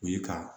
O ye ka